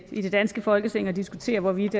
i det danske folketing og diskutere hvorvidt